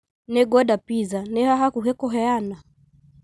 Nĩ ngwenda pizza nĩ haa hakuhĩ kũheana ?